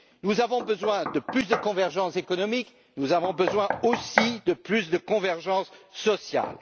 Nous avons besoin de plus de convergence économique, nous avons besoin aussi de plus de convergence sociale.